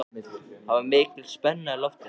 Það var mikil spenna í loftinu.